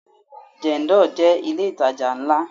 Jendol jẹ́ ilé itaja ńlá.